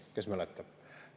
Kes mäletab?